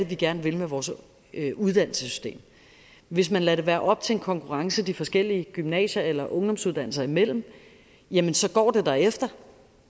vi gerne vil med vores uddannelsessystem hvis man lader det være op til en konkurrence de forskellige gymnasier eller ungdomsuddannelser imellem jamen så går det derefter